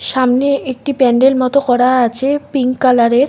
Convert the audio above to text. সামনে একটি প্যান্ডেল মতো করা আছে পিঙ্ক কালার -এর।